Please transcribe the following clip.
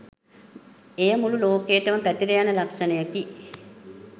එය මුළු ලෝකයටම පැතිර යන ලක්‍ෂණයකි